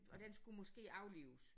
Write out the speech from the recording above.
Og den skulle måske aflives